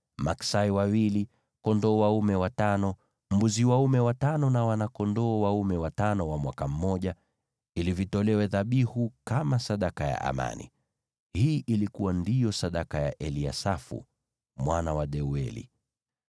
maksai wawili, kondoo dume watano, mbuzi dume watano na wana-kondoo dume watano wa mwaka mmoja, ili vitolewe dhabihu kama sadaka ya amani. Hii ndiyo ilikuwa sadaka ya Eliasafu mwana wa Deueli.